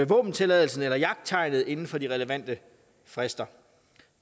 våbentilladelsen eller jagttegnet inden for de relevante frister